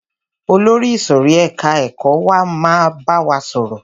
Olórí ìsòrí ẹka ẹ̀kọ́ wa máa wá bá wa sọ̀rọ̀.